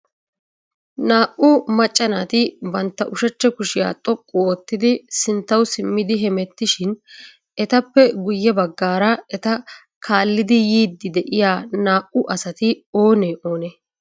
Naa"u macca naati bantta ushachcha kushiya xoqqu oottidi sinttaw simmidi hemettishin etappe guyye baggaara eta kaallodo yiidi de'iyaa naa"i asati oonee oonee?